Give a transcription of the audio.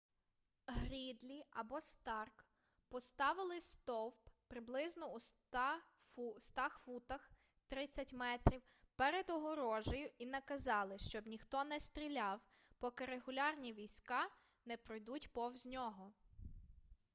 грідлі або старк поставили стовп приблизно у 100 футах 30 м перед огорожею і наказали щоб ніхто не стріляв поки регулярні війська не пройдуть повз нього